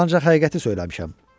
Mən ancaq həqiqəti söyləmişəm.